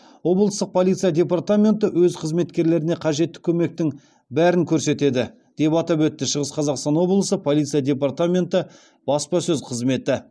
облыстық полиция департаменті өз қызметкерлеріне қажетті көмектің бәрін көрсетеді деп атап өтті шығыс қазақстан облысы полиция департаменті баспасөз қызметі